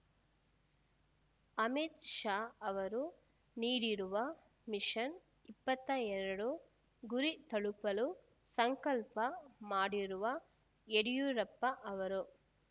ಅಮಿತ್ ಶಾ ಅವರು ನೀಡಿರುವ ಮಿಷನ್ ಇಪ್ಪತ್ತ ಎರಡು ಗುರಿ ತಲುಪಲು ಸಂಕಲ್ಪ ಮಾಡಿರುವ ಯಡಿಯೂರಪ್ಪ ಅವರು